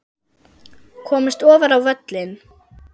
Komist ofar á völlinn?